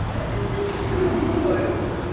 накосячить другой